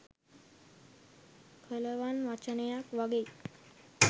කලවන් වචනයක් වගෙයි.